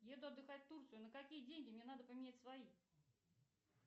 еду отдыхать в турцию на какие деньги мне надо поменять свои